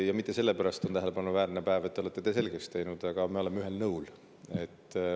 Aga mitte sellepärast ei ole tähelepanuväärne päev, et te olete asja endale selgeks teinud, vaid sellepärast, et me oleme ühel nõul.